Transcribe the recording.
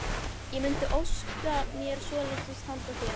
Ég mundi óska mér svolítils handa þér!